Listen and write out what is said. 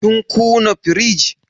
Kin kuna firij?